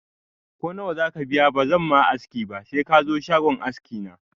Ko nawa zaka biya ba zan ma aski ba se kazo shagon aski na